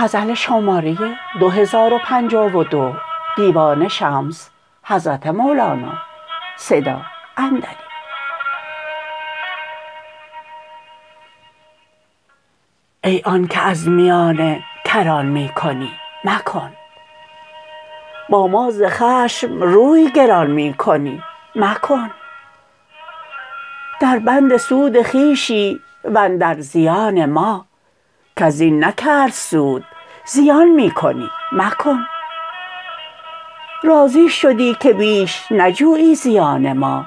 ای آنک از میانه کران می کنی مکن با ما ز خشم روی گران می کنی مکن دربند سود خویشی و اندر زیان ما کس زین نکرد سود زیان می کنی مکن راضی شدی که بیش نجویی زیان ما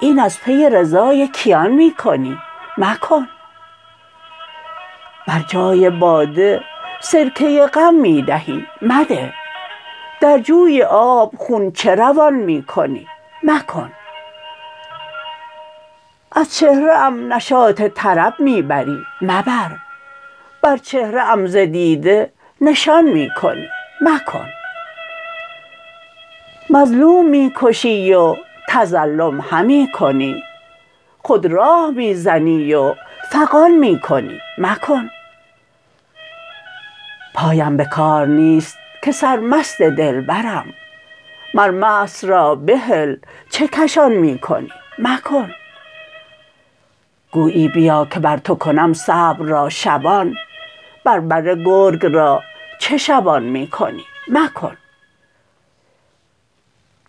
این از پی رضای کیان می کنی مکن بر جای باده سرکه غم می دهی مده در جوی آب خون چه روان می کنی مکن از چهره ام نشاط طرب می بری مبر بر چهره ام ز دیده نشان می کنی مکن مظلوم می کشی و تظلم همی کنی خود راه می زنی و فغان می کنی مکن پایم به کار نیست که سرمست دلبرم مر مست را بهل چه کشان می کنی مکن گویی بیا که بر تو کنم صبر را شبان بر بره گرگ را چه شبان می کنی مکن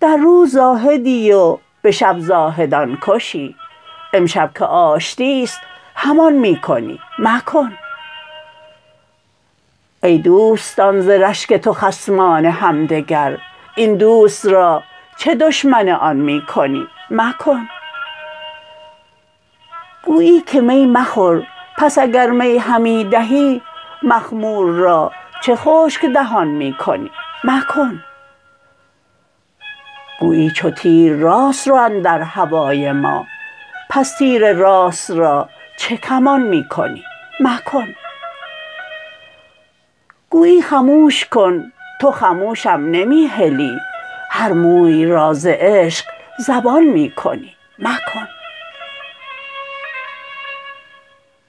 در روز زاهدی و به شب زاهدان کشی امشب که آشتی است همان می کنی مکن ای دوستان ز رشک تو خصمان همدگر این دوست را چه دشمن آن می کنی مکن گویی که می مخور پس اگر می همی دهی مخمور را چه خشک دهان می کنی مکن گویی چو تیر راست رو اندر هوای ما پس تیر راست را چه کمان می کنی مکن گویی خموش کن تو خموشم نمی هلی هر موی را ز عشق زبان می کنی مکن